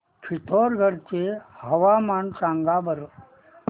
पिथोरगढ चे हवामान सांगा बरं